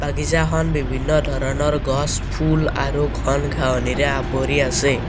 বাগিছাখন বিভিন্ন ধৰণৰ গছ ফুল আৰু ঘন ঘাঁহনিৰে আৱৰি আছে।